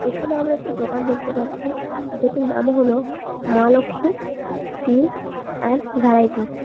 এখানে আমরা একটি দোকান দেখতে পাচ্ছি যেটির নাম হল মা লক্ষী টি এন্ড ভ্যারাইটিজ ।